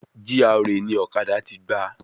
GRA ni ọ̀kadà ti gba